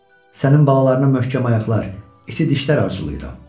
Sənin balalarına möhkəm ayaqlar, iti dişlər arzulayıram.